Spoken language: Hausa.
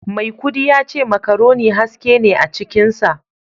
Maikudi yace macaroni haske ne a cikinsa